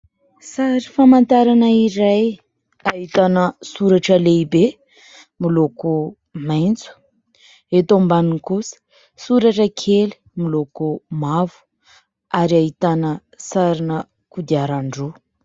Sary famantarana iray ahitana soratra lehibe miloko maitso, eto ambaniny kosa soratra kely miloko mavo ary ahitana sarina kodiarandroa.